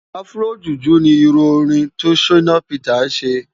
Afro juju ni irù órin to Shina Peters sé